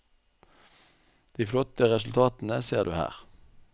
De flotte resultatene ser du her.